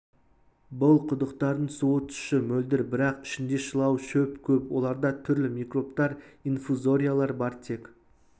бұл құдықтардың суы тұщы мөлдір бірақ ішінде шылау шөп көп оларда түрлі микробтар инфузориялар бар тек